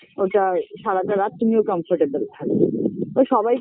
ওটায় সারাটা রাত তুমিও comfortable থাকবে তো সবাই